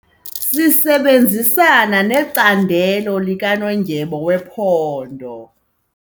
Sisebenzisana necandelo likanondyebo wephondo.